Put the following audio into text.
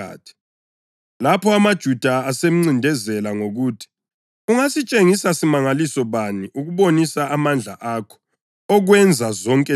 Lapho amaJuda asemncindezela ngokuthi, “Ungasitshengisa simangaliso bani ukubonisa amandla akho okwenza zonke lezizinto?”